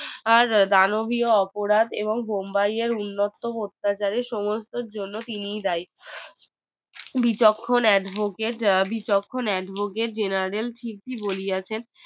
আর দানবী অপরাধ বোম্বাই এ উন্মুক্ত অত্যাচারে সমস্তর জন্য তিনি দায়ী বিচক্ষণ advocate general বলিয়াছে